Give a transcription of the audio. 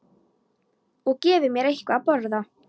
Og gefi mér eitthvað að borða.